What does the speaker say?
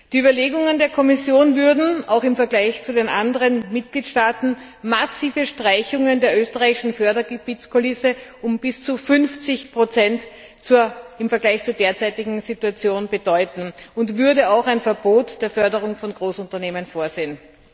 Die Überlegungen der Kommission würden, auch im Vergleich zu den anderen Mitgliedstaaten, massive Streichungen der österreichischen Fördergebietskulisse um bis zu 50 im Vergleich zur derzeitigen Situation bedeuten und würden auch ein Verbot der Förderung von Großunternehmen vorsehen.